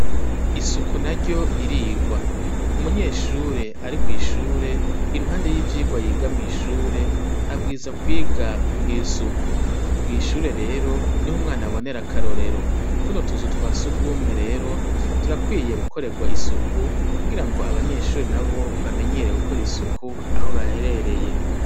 Isuku naryo ririrwa. Umunyeshure ari kwishure iruhande y'ivyigwa yiga mwishure abwirizwa kwiga kugira isuku. Kwishure reo niho umwana abonera akarorero. Tuno tuzu twa sugumwe rero turakwiye gukorerwa isuku kugirango abanyeshure nabo aho baherereye bamanyere kugira isuku.